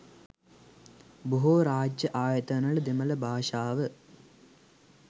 බොහෝ රාජ්‍ය ආයතනවල දෙමළ භාෂාව